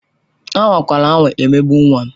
Anwakwala anwa emegbu nwa m!